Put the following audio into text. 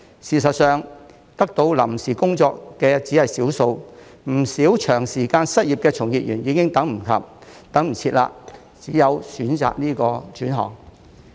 事實上，獲得臨時工作的只是少數，不少長時間失業的從業員已等不及，只有選擇轉行。